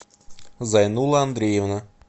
зайнулла андреевна